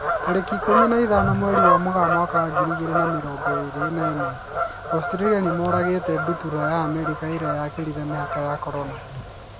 Tarĩki ikũmi na ithano mweri wa Mũgaa mwaka wa ngiri igĩrĩ na mĩrongo ĩrĩ na ĩmwe, Australia nĩmoragĩte ndutura ya Amerika na ĩrĩa yakĩrire mĩhaka ya Corona.